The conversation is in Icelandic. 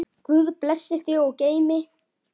Guð blessi þig og geymi.